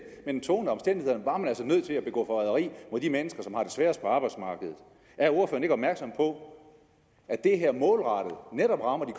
men tvunget af omstændighederne var man altså nødt til at begå forræderi mod de mennesker som har det sværest på arbejdsmarkedet er ordføreren ikke opmærksom på at det her målrettet netop rammer de